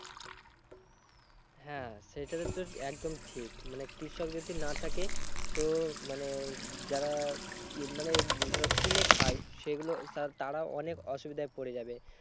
হ্যাঁ সেটা একদম ঠিক। মানে কৃষক যদি না থাকে তো মানে যারা মানে ধরো কিনে খায় সেগুলো, তারা অনেক অসুবিধায় পড়ে যাবে।